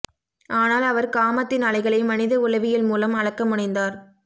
ஆனால் அவர் காமத்தின் அலைகளை மனித உளவியல்மூலம் அளக்க முனைந்தார்